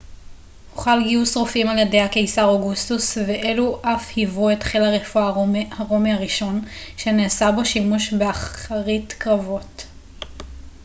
הוחל גיוס רופאים על ידי הקיסר אוגוסטוס ואלו אף היוו את חיל הרפואה הרומי הראשון שנעשה בו שימוש באחרית קרבות